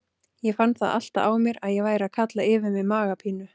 Ég fann það alltaf á mér að ég væri að kalla yfir mig magapínu!